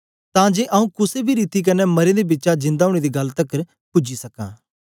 तां जे आऊँ कुसे बी रीति कन्ने मरें दे बिचा जिंदा ओनें दी गल्ल तकर पूजी सकां